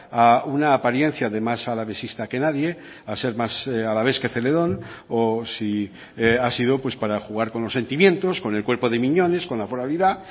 a una apariencia de más alavesista que nadie a ser más alavés que celedón o si ha sido para jugar con los sentimientos con el cuerpo de miñones con la foralidad